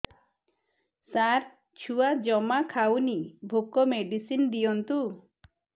ସାର ଛୁଆ ଜମା ଖାଉନି ଭୋକ ମେଡିସିନ ଦିଅନ୍ତୁ